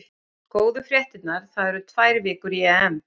Góðu fréttirnar: það eru tvær vikur í EM.